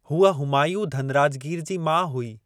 हूअ हुमायूं धनराजगीर जी माउ हुई।